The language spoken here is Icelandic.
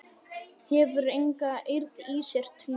Hefur enga eirð í sér til þess.